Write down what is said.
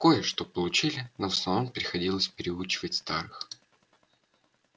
кое-что получили но в основном приходилось переучивать старых